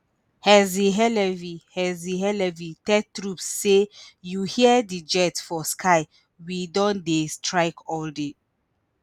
herzi halevi herzi halevi tell troops say you hear di jets for sky we don dey strike all day